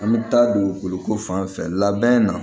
An bɛ taa dugukolo ko fan fɛ labɛn na